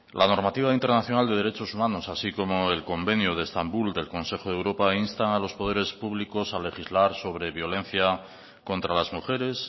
la normativa internacional de derechos humanos así como el convenio de estambul del consejo de europa instan a los poderes públicos a legislar sobre violencia contra las mujeres